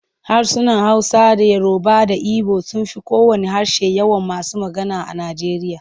Harsunan Hausa da Yoruba da Ibo sun fi kowanne harshe yawan masu magana a Nijeriya.